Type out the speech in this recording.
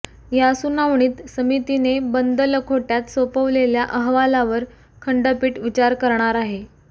या सुनावणीत समितीने बंद लखोटय़ात सोपवलेल्या अहवालावर खंडपीठ विचार करणार आहे